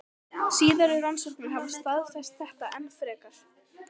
Síðari rannsóknir hafa staðfest þetta enn frekar.